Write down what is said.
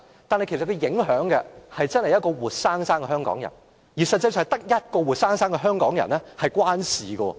但影響所及，卻是一位活生生的香港人，而實際上只是跟一位活生生的香港人有關。